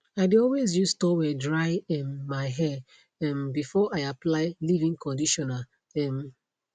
i dae always use toweldry um my hair um before i apply leavein conditioner um